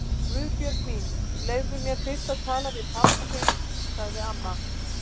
Guðbjörg mín, leyfðu mér fyrst að tala við pabba þinn sagði amma.